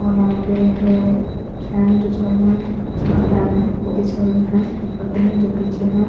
और यहा पे है जो पीछे है।